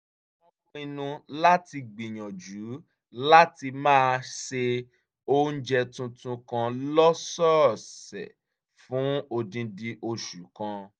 wọ́n pinnu láti gbìyànjú láti máa ṣe oúnjẹ tuntun kan lọ́sọ̀ọ̀sẹ̀ fún odindi oṣù kan